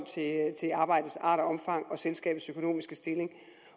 til arbejdets art og omfang og selskabets økonomiske stilling